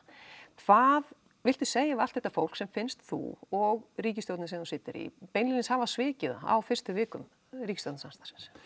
hvað viltu segja við allt þetta fólk sem finnst þú og ríkisstjórnin sem þú situr í beinlínis hafa svikið það á fyrstu vikum ríkisstjórnarsamstarfsins